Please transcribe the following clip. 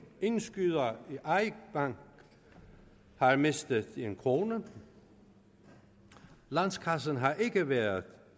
indskydere i eik bank har mistet en krone landskassen har ikke været